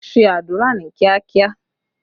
Ṣé àdúrà ní kíá!